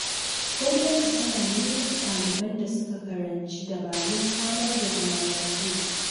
Gwamnati tana neman ɗaliban da suka karanci dabarun samar da zaman lafiya.